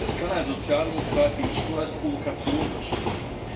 Das kann ein Sozialdemokrat wie ich nur als Provokation verstehen.